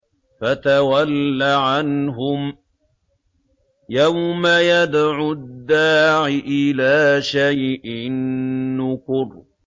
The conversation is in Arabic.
فَتَوَلَّ عَنْهُمْ ۘ يَوْمَ يَدْعُ الدَّاعِ إِلَىٰ شَيْءٍ نُّكُرٍ